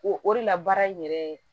O o de la baara in yɛrɛ